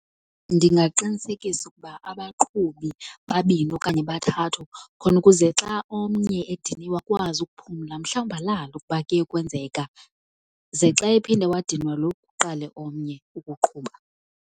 Ndingaqinisekisa ukuba abaqhubi babini okanye bathathu khona ukuze xa omnye ediniwe akwazi ukuphumla, mhlawumbi alale ukuba kuye kwenzeka, ze xa ephinde wadinwa lo kuqale omnye ukuqhuba.